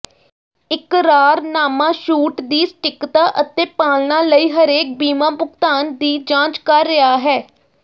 ਇਕਰਾਰਨਾਮਾ ਛੂਟ ਦੀ ਸਟੀਕਤਾ ਅਤੇ ਪਾਲਣਾ ਲਈ ਹਰੇਕ ਬੀਮਾ ਭੁਗਤਾਨ ਦੀ ਜਾਂਚ ਕਰ ਰਿਹਾ ਹੈ